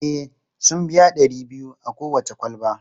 E, sun biya ɗari biyu a kowace kwalba.